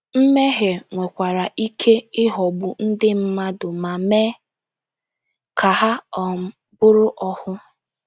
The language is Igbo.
Mmehie nwekwara ike ịghọgbu ndị mmadụ ma mee ka ha um bụrụ ohu.